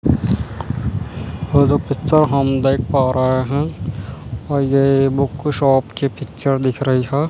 ओ जो पिक्चर हम देख पा रहे हैं अ ये बुक शॉप की पिक्चर दिख रही है।